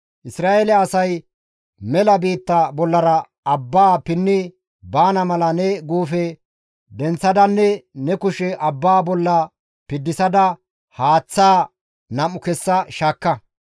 Isra7eele asay mela biitta bollara abbaa pinni baana mala ne guufe denththadanne ne kushe abbaa bolla piddisada haaththaa nam7u kessa shaakka.